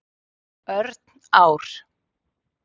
Örn Ár.